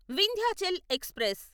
Vindhyachal express